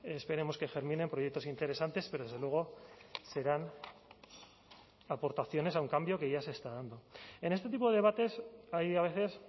esperemos que germine en proyectos interesantes pero desde luego serán aportaciones a un cambio que ya se está dando en este tipo de debates hay a veces